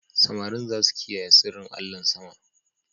Samarin za su kiyaye sirrin allahn sama.